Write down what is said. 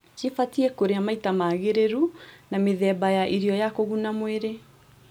Cibatiĩ kũrĩa maita maagĩrĩru na mĩthemba ya irio ya kũguna mwĩrĩ